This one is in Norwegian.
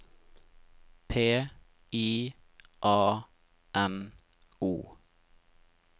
P I A N O